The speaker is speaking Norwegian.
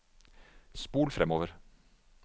spol framover